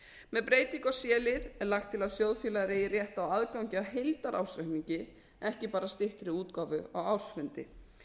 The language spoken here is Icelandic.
með breytingu í c lið er lagt til að sjóðfélagar eigi rétt á aðgangi að heildarársreikningi ekki bara styttri útgáfu á ársfundi